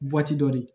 dɔ de